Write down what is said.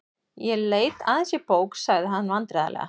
Ég leit aðeins í bók.- sagði hann vandræðalega.